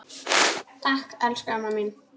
Takk, elsku amma mín.